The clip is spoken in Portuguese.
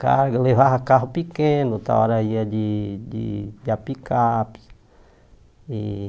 Carga, levava carro pequeno, outra hora ia de de a picape. E